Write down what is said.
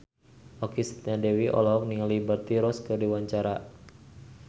Okky Setiana Dewi olohok ningali Liberty Ross keur diwawancara